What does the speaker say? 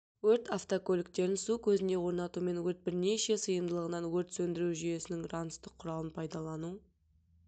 өрт автокөліктерін су көзіне орнатумен өрт бірнеше сыйымдылығынан өрт сөндіру жүйесінің ранцті құралын пайдалану